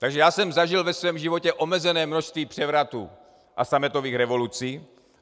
Takže já jsem zažil ve svém životě omezené množství převratů a sametových revolucí.